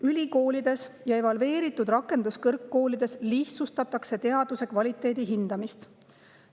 Ülikoolides ja evalveeritud rakenduskõrgkoolides lihtsustatakse teaduse kvaliteedi hindamist.